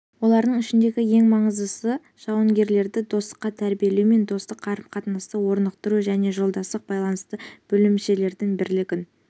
олардың ішіндегі ең маңыздысы жауынгерлерді достыққа тәрбиелеу мен достық қарым-қатынасты орнықтыру және жолдастық байланыстарды бөлімшелердің бірлігін